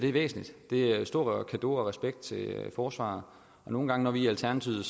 er væsentligt det er en stor cadeau og respekt til forsvaret nogle gange når vi i alternativet